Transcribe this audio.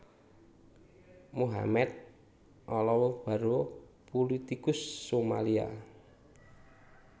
Mohamed Olow Barrow pulitikus Somalia